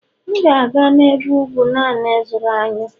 M ga-aga n'ebe ugwu naanị ịzụrụ anyụ